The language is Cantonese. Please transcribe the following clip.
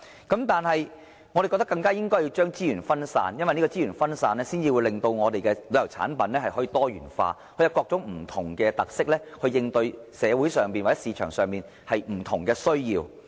但是，我們更應將資源分散，令旅遊產品多元化，以各種不同特色來應對社會上或市場上不同的需要。